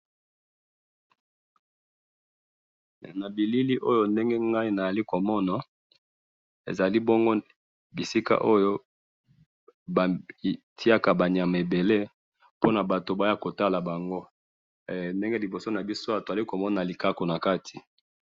Nabilili oyo ezali esika batiyaka banyama ebele mpo batubaya kotala bango, liboso nabiso awa tozali komona likaku nakati